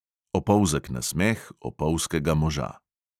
Opolzek nasmeh opolzkega moža.